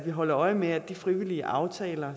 holde øje med at de frivillige aftaler